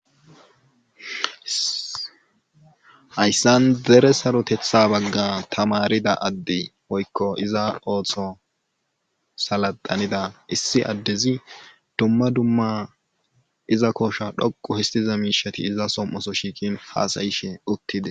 Hayssan dere saroteththa baga tamarida adde woykko iza ootho salaxina issi adezi dumma dumma iza koosha dhoqu histed miishati iza som'oso shiiqin hasaayishe uttides.